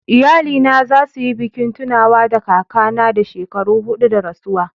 Iyalina za su yi bikin tunawa da kakana na shekaru hudu da rasuwa..